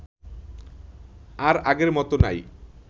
আর আগের মত নাই